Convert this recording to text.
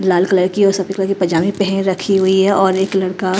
लाल कलर की और सफेद कलर की पजामे पहन रखी हुई है और एक लड़का--